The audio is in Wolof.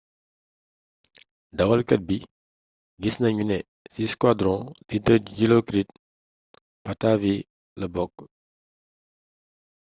dawalkat bi gis nanu ne ci squadron leader dilokrit pattavee la bokk